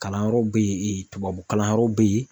Kalanyɔrɔ be yene tubabu kalanyɔrɔw be yen